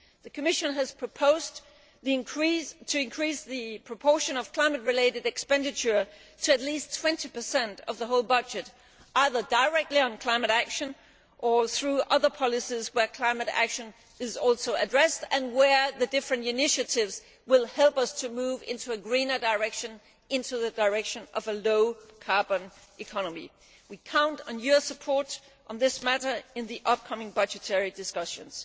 it. The Commission has proposed to increase the proportion of climate related expenditure to at least 20 of the whole budget, either directly on climate action or through other policies where climate action is also addressed and where the different initiatives will help us move in a greener direction and the direction of a low carbon economy. We count on your support on this matter in the upcoming budgetary discussions.